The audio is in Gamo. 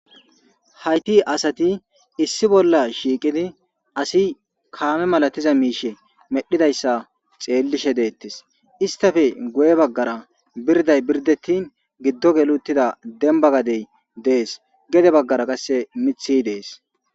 Hayti adati issi bolla shiiqidi asi kame malatiza miishe medhidaysa xeelishe deetes. Istappe guys bagara birda birdetin gido geli uttida demba gadey dees gede bagara qase mithi dees